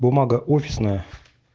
бумага офисная